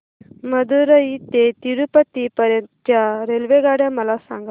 मदुरई ते तिरूपती पर्यंत च्या रेल्वेगाड्या मला सांगा